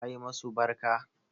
Ka yi masu barka?